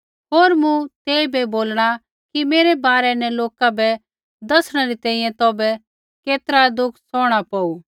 होर मूँ तेइबै बोलणा कि मेरै बारै न लोका बै दसणै री तैंईंयैं तौभै केतरा दुख सौहणा पौऊ